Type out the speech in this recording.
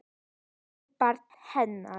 Við barn hennar.